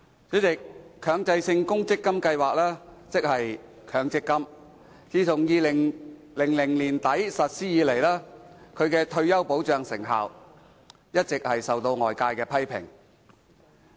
主席，強制性公積金計劃，自2000年年底實施以來，其退休保障成效一直備受外界批評。